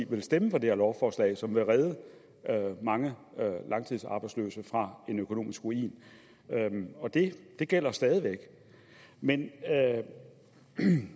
vil stemme for det her lovforslag som vil redde mange langtidsarbejdsløse fra økonomisk ruin det gælder stadig væk men